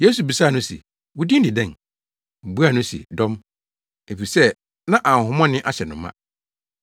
Yesu bisaa no se, “Wo din de dɛn?” Obuaa no se, “Dɔm.” Efisɛ na ahonhommɔne ahyɛ no ma.